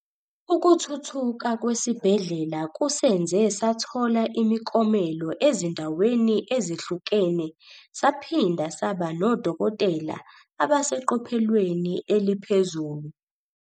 Ukuthuthuka kwesibhedlela kusenze sathola imikomelo ezindaweni ezehlukene saphinda saba nodokotela abaseqophelweni eliphezulu.